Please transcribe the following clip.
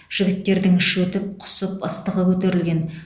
жігіттердің іші өтіп құсып ыстығы көтерілген